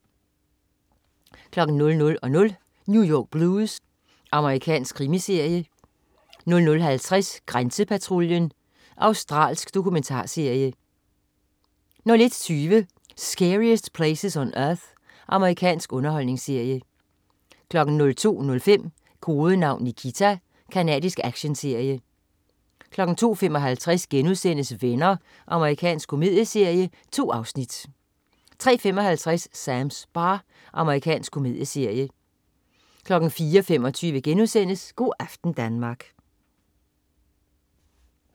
00.00 New York Blues. Amerikansk krimiserie 00.50 Grænsepatruljen. Australsk dokumentarserie 01.20 Scariest Places on Earth. Amerikansk underholdningsserie 02.05 Kodenavn Nikita. Canadisk actionserie 02.55 Venner.* Amerikansk komedieserie. 2 afsnit 03.55 Sams bar. Amerikansk komedieserie 04.25 Go' aften Danmark*